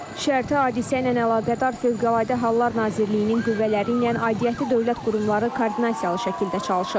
Şərti hadisə ilə əlaqədar Fövqəladə Hallar Nazirliyinin qüvvələri ilə aidiyyəti dövlət qurumları koordinasiyalı şəkildə çalışır.